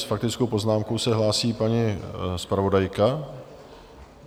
S faktickou poznámkou se hlásí paní zpravodajka?